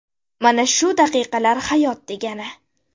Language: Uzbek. Mana shu daqiqalar hayot degani!